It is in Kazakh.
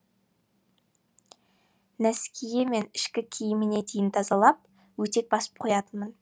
нәскиі мен ішкі киіміне дейін тазалап өтек басып қоятынмын